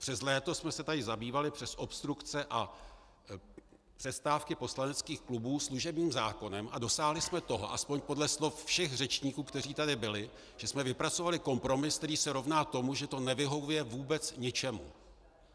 Přes léto jsme se tady zabývali přes obstrukce a přestávky poslaneckých klubů služebním zákonem a dosáhli jsme toho, aspoň podle slov všech řečníků, kteří tady byli, že jsme vypracovali kompromis, který se rovná tomu, že to nevyhovuje vůbec ničemu.